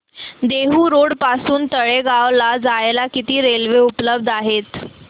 Dehu road पासून तळेगाव ला जायला किती रेल्वे उपलब्ध आहेत